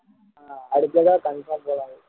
அடுத்த தடவை confirm போலாம்